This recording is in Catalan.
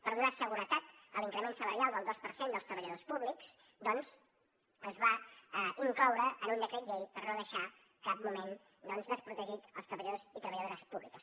per donar seguretat a l’increment salarial del dos per cent dels treballadors públics doncs es va incloure en un decret llei per no deixar en cap moment desprotegits els treballadors i treballadores públics